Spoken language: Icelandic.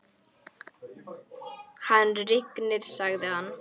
Hann rignir, sagði hann.